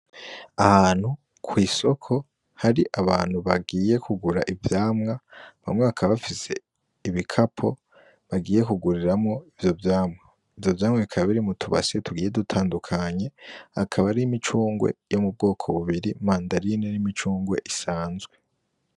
Ahantu kw'isoko hari abantu bagiye kugura ivyamwa, bamwe bakaba bafise ibikapo, bagiye kuguriramwo ivyo vyamwa. Ivyo vyamwa bikaba biri m'utubasi tugiye dutandukanye, akaba ari imicungwe yo mubwoko bubiri, mandarine n'imicungwe isanzwe.